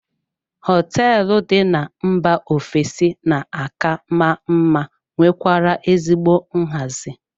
Hoteelu dị n'mba ofesi na-aka maa mma nwekwara ezigbo nhazi.